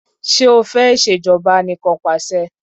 Ṣé o fẹ́ ìṣèjọba anìkanpàṣẹ?